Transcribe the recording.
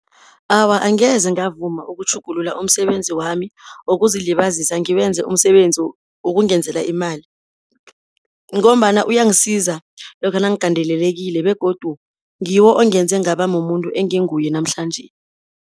Awa, angeze ngavuma ukutjhugulula umsebenzi wami wokuzilibazisa, ngiwenze umsebenzi wokungenzela imali, ngombana uyangisiza lokha nangigadelelekile, begodu ngiwo ongenze ngaba mumuntu enginguye namhlanje.